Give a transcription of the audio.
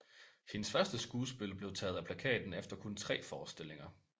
Hendes første skuespil blev taget af plakaten efter kun tre forestillinger